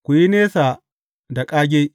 Ku yi nesa da ƙage.